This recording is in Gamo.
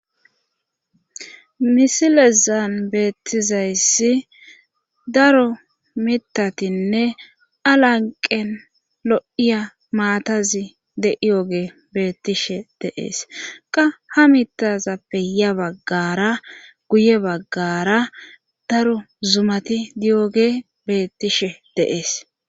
Misilezan beettizayssi daro mitatinne alanqen lo7iya maatazi de7iyoge beettishe deees qa ha mitazappe ya baggara guye baggara daro zumati diyoge beettishe deees